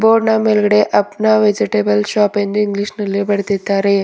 Board ನ ಮೇಲ್ಗಡೆ Apna vegetable shop ಎಂದು ಇಂಗ್ಲಿಷ್ ನಲ್ಲಿ ಬರೆದಿದ್ದಾರೆ.